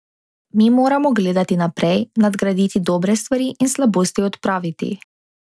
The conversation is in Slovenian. Mi moramo gledati naprej, nadgraditi dobre stvari in slabosti odpraviti.